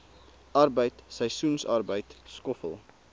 arbeid seisoensarbeid skoffel